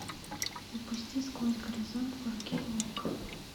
запусти сквозь горизонт фор кей окко